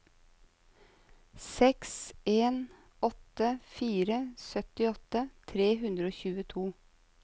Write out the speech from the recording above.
seks en åtte fire syttiåtte tre hundre og tjueto